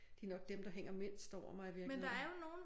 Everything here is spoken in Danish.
De nok dem der hænger mindst over mig i virkeligheden